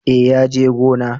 Eh ya je gona